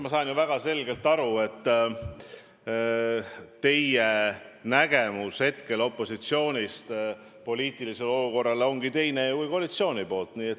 Ma saan väga selgelt aru, et teie vaade opositsiooni poolt poliitilisele olukorrale ongi teine kui vaade koalitsiooni poolt.